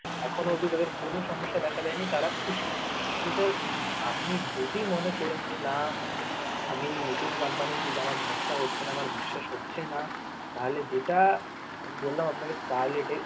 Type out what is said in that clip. এখন অব্দি তাদের কোন সমস্যা দেখা দেয় নি তারা খুশি কিন্তু sir আপনি যদি মনে করেন যে না আমি number এ ঠিক ভরসা হচ্ছে না আমার বিশ্বাস হচ্ছে না তাহলে যেটা আমি বললাম আপনাকে কাল এটার একটু